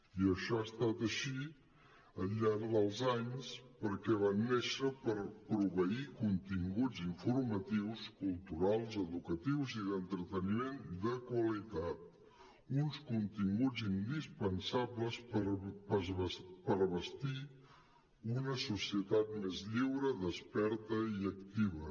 i això ha estat així al llarg dels anys perquè van néixer per proveir con·tinguts informatius culturals educatius i d’entreteniment de qualitat uns continguts indispensables per abastir una societat més lliure desperta i activa